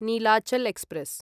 Nilachal express